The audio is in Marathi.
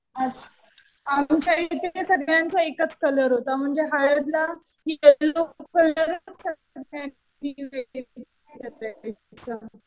अच्छा. आमच्या इथे सगळ्यांचा एकच कलर होता म्हणजे हळदला यल्लो कलरच